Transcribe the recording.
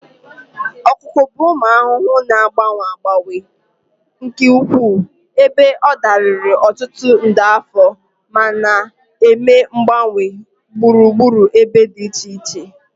Ọkụkụ bụ ụmụ ahụhụ na-agbanwe agbanwe nke ukwuu, ebe ọ dịlarị ọtụtụ nde afọ ma na-eme mgbanwe na gburugburu ebe dị iche iche.